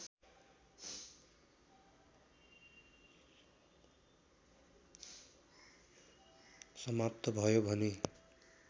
समाप्त भयो भने